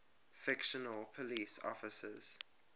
fictional police officers